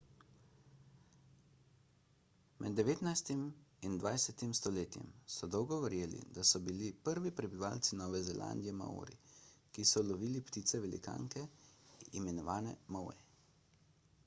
med devetnajstim in dvajsetem stoletjem so dolgo verjeli da so bili prvi prebivalci nove zelandije maori ki so lovili ptice velikanke imenovane moe